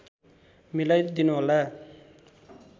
मिलाई दिनुहोला